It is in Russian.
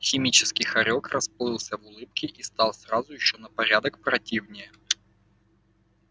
химический хорёк расплылся в улыбке и стал сразу ещё на порядок противнее